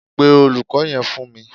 Pe Olùkó yẹn fún mi.